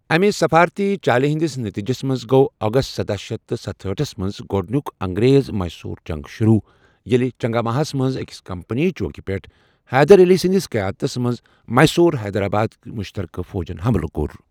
اَمہِ سِفارتی چالہِ ہندِس نٔتیٖجس منٛز گوٚو اگست سداہ شتھ ست ہٲٹھس منٛز گۄڈنیک انگریز میسور جنگ شروع ییٚلہِ چنگاماہَس منٛز أکِس کمپنی چوکہ پیٹھ حیدر علی سںدِس قیادتس منز میسور حیدرآبٲدِ مشترکہٕ فوجن حملہٕ كور .